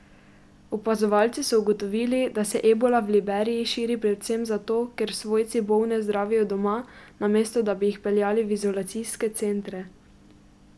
Opazovalci so ugotovili, da se ebola v Liberiji širi predvsem zato, ker svojci bolne zdravijo doma, namesto da bi jih peljali v izolacijske centre.